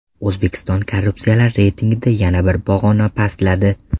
O‘zbekiston korrupsiyalar reytingida yana bir pog‘ona pastladi.